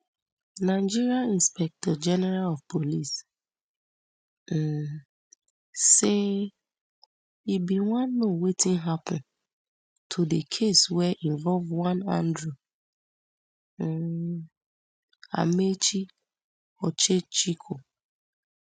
nigeria inspectorgeneral of police um say im wan know wetin happun to di case wey involve one andrew um amaechi ocheckwo